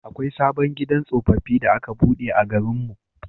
Akwai sabon gidan tsofaffi da aka buɗe a garin mu.